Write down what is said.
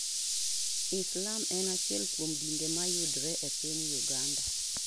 Islam en achiel kuom dinde mayudore epiny Uganda.